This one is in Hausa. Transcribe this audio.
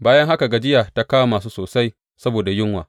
Bayan haka gajiya ta kama su sosai saboda yunwa.